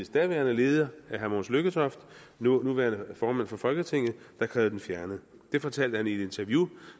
daværende leder herre mogens lykketoft nuværende formand for folketinget der krævede den fjernet det fortalte han i et interview